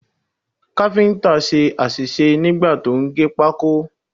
Káfíǹtà ṣe àṣìṣe nígbà tí ó ń gé pákó.